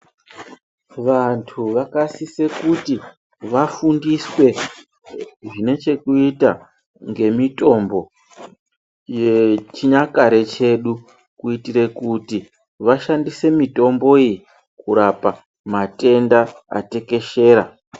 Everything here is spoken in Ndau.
Vantu vakasise kuti vafundiswe zvinechekuita ngemitombo yechinyakare chedu kuitire kuti vashandise mitombo iyi kurapa matenda atekeshera.